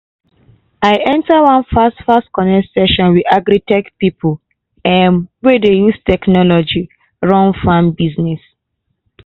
i enter one fast-fast connect session with agri-tech pipo um wey dey use technology run farm business.